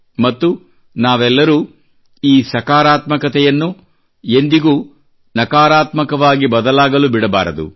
ಮತ್ತು ನಾವೆಲ್ಲರೂ ಈ ಸಕಾರಾತ್ಮಕತೆಯನ್ನು ಎಂದಿಗೂ ನಕಾರಾತ್ಮಕವಾಗಿ ಬದಲಾಗಲು ಬಿಡಬಾರದು